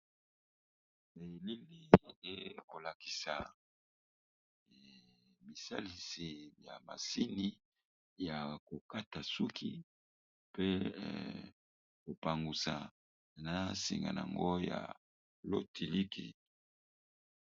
Elili ekolakisa bisalisi ya masini ya kokata suki pe kopangusa na singa nango ya lotiliki.